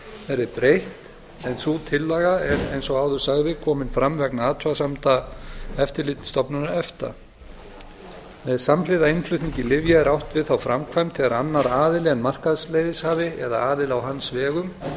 verði breytt en sú tillaga er eins og áður sagði komin fram vegna athugasemda eftirlitsstofnunar efta með samhliða innflutningi lyfja er átt við þá framkvæmd þegar annar aðili en markaðsleyfishafi eða aðili á hans vegum